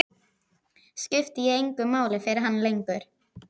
Skipti ég engu máli fyrir hann lengur?